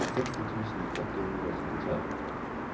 seksti tusen åtte hundre og syttitre